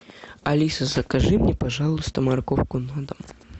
алиса закажи мне пожалуйста морковку на дом